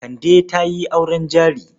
Kande ta yi auren jari.